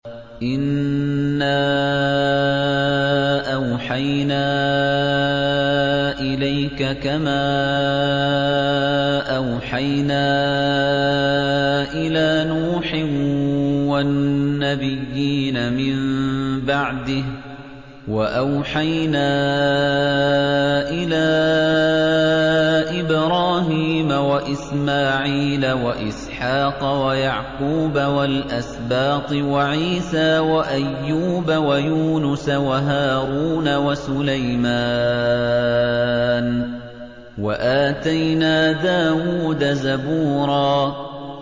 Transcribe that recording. ۞ إِنَّا أَوْحَيْنَا إِلَيْكَ كَمَا أَوْحَيْنَا إِلَىٰ نُوحٍ وَالنَّبِيِّينَ مِن بَعْدِهِ ۚ وَأَوْحَيْنَا إِلَىٰ إِبْرَاهِيمَ وَإِسْمَاعِيلَ وَإِسْحَاقَ وَيَعْقُوبَ وَالْأَسْبَاطِ وَعِيسَىٰ وَأَيُّوبَ وَيُونُسَ وَهَارُونَ وَسُلَيْمَانَ ۚ وَآتَيْنَا دَاوُودَ زَبُورًا